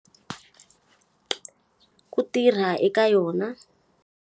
Ku tirha eka yona.